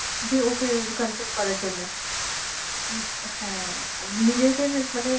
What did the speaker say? যে ওকে confess করার জন্যে উম হ্যাঁ, উনি যেহেতু মানে